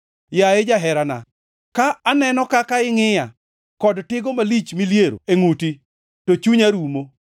Yaye jaherana, ka aneno kaka ingʼiya, kod tigo malich miliero e ngʼuti, to chunya rumo.